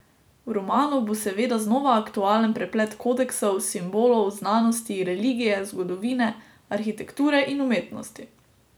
V romanu bo seveda znova aktualen preplet kodeksov, simbolov, znanosti, religije, zgodovine, arhitekture in umetnosti.